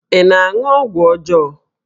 Ị na-aṅụ ọgwụ ọjọọ?